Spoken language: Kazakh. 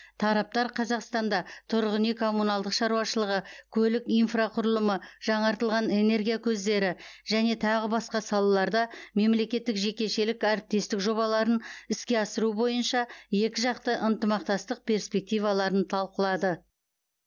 тараптар қазақстанда тұрғын үй коммуналдық шаруашылығы көлік инфрақұрылымы жаңартылатын энергия көздері және тағы басқа салаларда мемлекеттік жекешелік әріптестік жобаларын іске асыру бойынша екіжақты ынтымақтастық перспективаларын талқылады